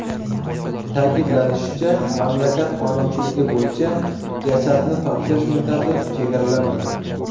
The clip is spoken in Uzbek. Ta’kidlanishicha, mamlakat qonunchiligi bo‘yicha, jasadni topshirish muddati chegaralanmagan.